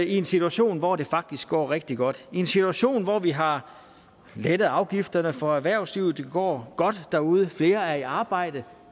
i en situation hvor det faktisk går rigtig godt vi i en situation hvor vi har lettet afgifterne for erhvervslivet det går godt derude flere er i arbejde